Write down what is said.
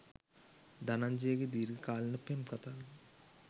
ධනංජයගේ දීර්ඝකාලීන පෙම් කතාව